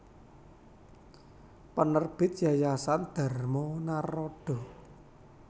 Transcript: Penerbit Yayasan Dharma Naradha